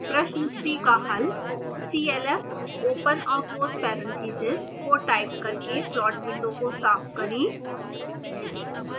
प्रश्न 3 का हल